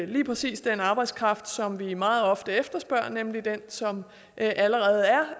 lige præcis den arbejdskraft som vi meget ofte efterspørger nemlig den som allerede